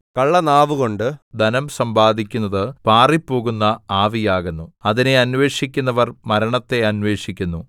കള്ളനാവുകൊണ്ട് ധനം സമ്പാദിക്കുന്നത് പാറിപ്പോകുന്ന ആവിയാകുന്നു അതിനെ അന്വേഷിക്കുന്നവർ മരണത്തെ അന്വേഷിക്കുന്നു